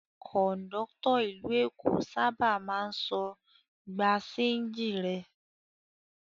Kọ̀ńdọ́tọ̀ ìlú Èkó sábà máa ń sọ "gba ṣéńjì rẹ".